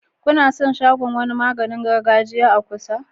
Kuna san wani shagon maganin gargajiya a kusa?